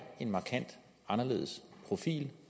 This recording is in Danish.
en markant anderledes profil